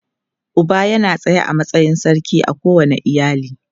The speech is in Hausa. Uba yana tsaye a matsayin sarki a kowane iyali.